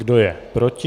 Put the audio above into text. Kdo je proti?